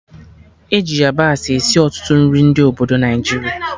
E ji yabasị esi ọtụtụ nri ndị obodo Naijiria